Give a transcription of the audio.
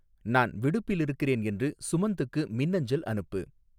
நான் விடுப்பில் இருக்கிறேன் என்று சுமந்த்துக்கு மின்னஞ்சல் அனுப்பு